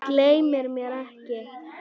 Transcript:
Gleymir mér ekki.